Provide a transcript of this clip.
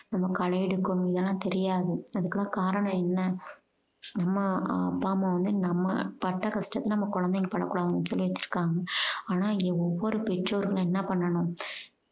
நம்ம களை எடுக்கணும் இதெல்லாம் தெரியாது அதுக்கெல்லாம் காரணம் என்ன அம்மா அப்பா அம்மா வந்து நம்ம பட்ட கஷ்டத்தை நம்ம குழந்தைங்க படக்கூடாதுன்னு சொல்லி வச்சுருக்காங்க ஆனா இங்க ஒவ்வொரு பெற்றோர்களும் என்ன பண்ணனும்